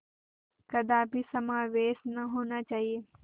कदापि समावेश न होना चाहिए